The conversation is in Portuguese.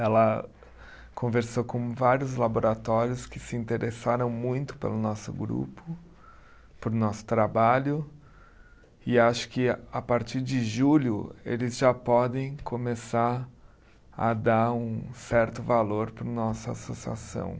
Ela conversou com vários laboratórios que se interessaram muito pelo nosso grupo, por nosso trabalho, e acho que a partir de julho eles já podem começar a dar um certo valor para a nossa associação.